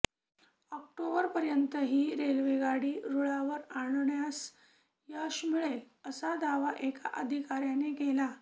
ऑक्टोबरपर्यंत ही रेल्वेगाडी रूळावर आणण्यास यश मिळेल असा दावा एका अधिकाऱयाने केला